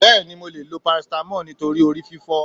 Bẹ́ẹ̀ni mo leè lo paracetamol nítorí orí fífó